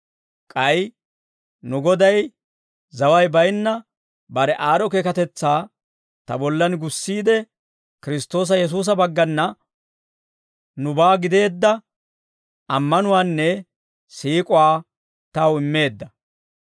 K'ay nu Goday zaway baynna bare aad'd'o keekatetsaa ta bollan gussiide, Kiristtoosa Yesuusa baggana nubaa gideedda ammanuwaanne siik'uwaa taw immeedda.